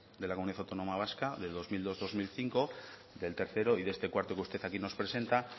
de la comunidad autónoma vasca de dos mil dos dos mil cinco del tercero y de este cuarto que usted aquí nos presenta